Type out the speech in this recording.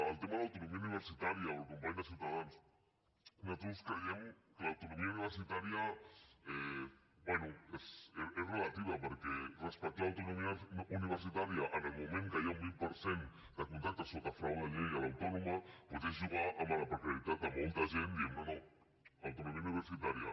el tema de l’autonomia universitària al company de ciutadans nosaltres creiem que l’autonomia universitària bé és relativa perquè respectar l’autonomia universitària en el moment que hi ha un vint per cent de contractes sota frau de llei a l’autònoma doncs és jugar amb la precarietat de molta gent dient no no autonomia universitària